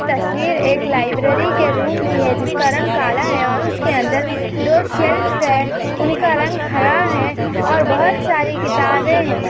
तस्वीर एक लायब्ररी के रूम की है जिसका रंग काला है और उसके अंदर दो शेल्फ है उनका रंग हरा है और बहुत सारी किताबें है।